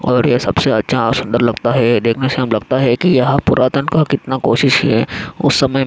और ये सबसे अच्छा सुंदर लगता है देखने से हम लगता है की यह पुरातन का कितना कोशिश है उस समय --